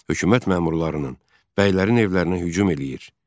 Hökumət məmurlarının, bəylərin evlərinə hücum eləyir.